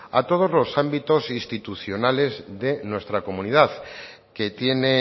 a todos los ámbitos institucionales de nuestra comunidad que tiene